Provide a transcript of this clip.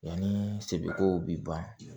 Yanni sɛbɛko bi ban